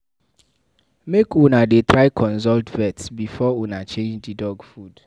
Make una dey try consult vet before una change di dog food.